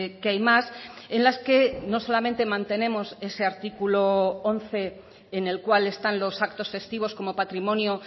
que hay más en las que no solamente mantenemos ese artículo once en el cual están los actos festivos como patrimonio